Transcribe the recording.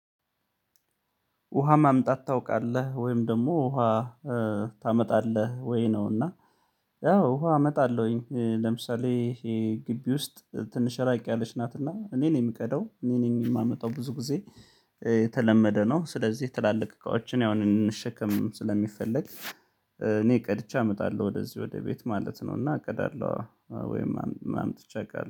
ውሃ ማምጣት ታውቃለህ ወይም ደግሞ ውሃ ታመጣለህ ወይ ነው? እና ያው አመጣለሁኝ ለምሳሌ ይሄ ግቢ ውስጥ ትንሽ ራቅ ያለች ናትና እኔን የምቀደው እኔ ነኝ የማመጣው ብዙ ጊዜ። የተለመደ ነው ስለዚህ ትላልቅ እቃዎችን ያሁን እንሸከም ስለሚፈለግ እኔ ቀድቼ አምጣለሁ ወደዚህ ወደ ቤት ማለት ነው። እና አቅዳለሁ ወይም አምጥቼ አውቃለሁ